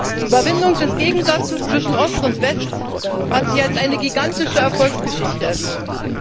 Die Überwindung des Gegensatzes zwischen Ost und West hat sich als eine gigantische Erfolgsgeschichte erwiesen.